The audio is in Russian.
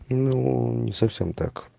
ну не совсем так